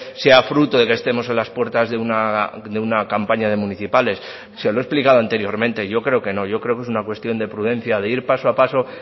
sea fruto de que estemos en las puertas de una campaña de municipales se lo he explicado anteriormente yo creo que no yo creo que es una cuestión de prudencia de ir paso a paso